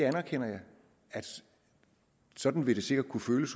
anerkender at sådan vil det sikkert kunne føles